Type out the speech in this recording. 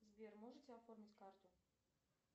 сбер можете оформить карту